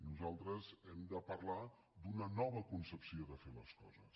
nosaltres hem de parlar d’una nova concepció de fer les coses